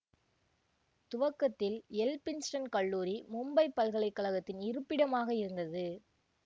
துவக்கத்தில் எல்பின்ஸ்டன் கல்லூரி மும்பை பல்கலை கழகத்தின் இருப்பிடமாக இருந்தது